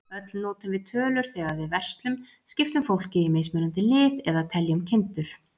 Öll notum við tölur þegar við verslum, skiptum fólki í mismunandi lið, eða teljum kindur.